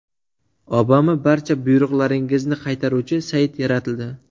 Obama barcha buyruqlaringizni qaytaruvchi sayt yaratildi.